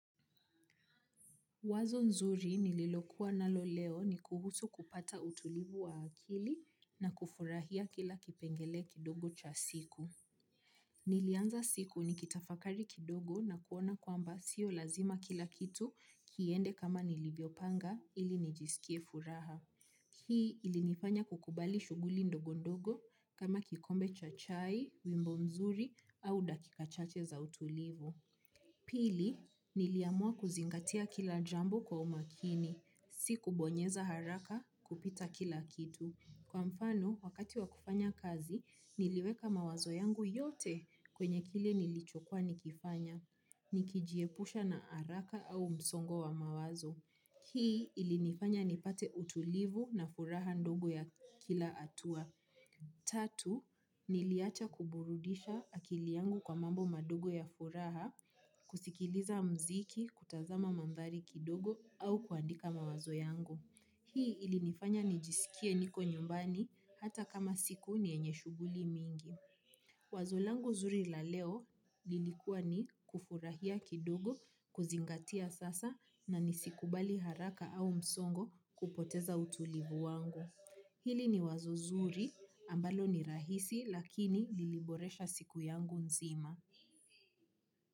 Wazo nzuri nililokuwa nalo leo ni kuhusu kupata utulivu wa akili na kufurahia kila kipengele kidogo cha siku. Nilianza siku nikitafakari kidogo na kuona kwamba sio lazima kila kitu kiende kama nilivyopanga ili nijisikie furaha. Hii ilinifanya kukubali shughuli ndogo ndogo kama kikombe cha chai, wimbo nzuri au dakika chache za utulivu. Pili, niliamua kuzingatia kila jambo kwa umakini. Si kubonyeza haraka kupita kila kitu. Kwa mfano, wakati wakufanya kazi, niliweka mawazo yangu yote kwenye kile nilichokwa nikifanya. Nikijiepusha na haraka au msongo wa mawazo. Hii ilinifanya nipate utulivu na furaha ndogo ya kila hatua. Tatu, niliacha kuburudisha akili yangu kwa mambo madogo ya furaha. Kusikiliza muziki, kutazama mandhari kidogo au kuandika mawazo yangu. Hii ilinifanya nijisikie niko nyumbani hata kama siku ni yenye shughuli mingi. Wazo langu zuri la leo lilikuwa ni kufurahia kidogo, kuzingatia sasa na nisikubali haraka au msongo kupoteza utulivu wangu. Hili ni wazo zuri ambalo ni rahisi lakini liliboresha siku yangu nzima.